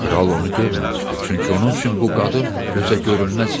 Kral onu görməmişdi, çünki onun üçün bu qadın gözəgörünməz idi.